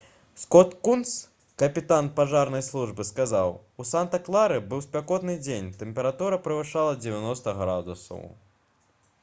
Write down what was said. скот кунс капітан пажарнай службы сказаў: «у санта-клары быў спякотны дзень тэмпература перавышала 90 градусаў»